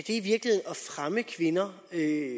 fremme kvinder